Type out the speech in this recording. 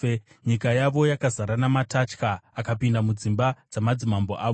Nyika yavo yakazara namatatya, akapinda mudzimba dzamadzimambo avo.